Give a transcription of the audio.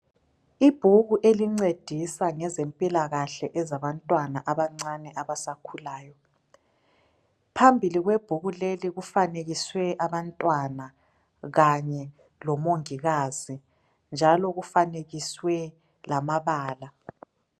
Ibhuku elincedisa ngezempilakahle ezabantwana abancane abasakhulayo phambili kwebhuku leli kufanekiswe abantwana kanye lomongikazi njalo kufanekiswe lamabala